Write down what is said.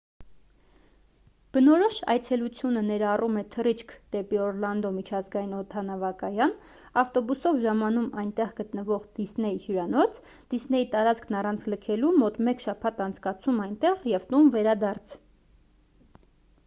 բնորոշ այցելությունը ներառում է թռիչք դեպի օռլանդո միջազգային օդանավակայան ավտոբուսով ժամանում այնտեղ գտնվող դիսնեյ հյուրանոց դիսնեյի տարածքն առանց լքելու մոտ մեկ շաբաթ անցկացում այնտեղ և տուն վերադարձ